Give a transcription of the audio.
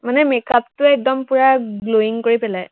মানে make up টোৱে একদম পোৰা glowing কৰি পেলায়।